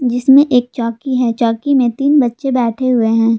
इसमें एक चौकी है चौकी में तीन बच्चे बैठे हुए हैं।